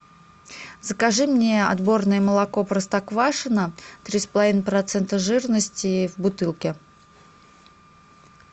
закажи мне отборное молоко простоквашино три с половиной процента жирности в бутылке